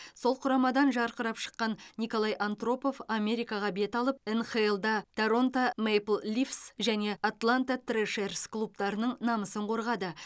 сол құрамадан жарқырап шыққан николай антропов америкаға бет алып нхл да торонто мэйпл лифс және атланта трэшерс клубтарының намысын қорғады